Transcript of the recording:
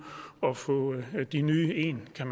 og få de nye ind kan